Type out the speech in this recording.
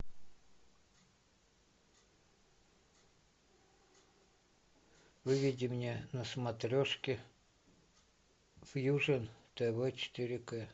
выведи мне на смотрешке фьюжен тв четыре к